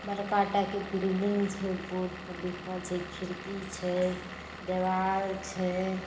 बड़का टाके एक बिल्डिंग छै बोर्ड पे लिखल छै खिड़की छै देवाल छै।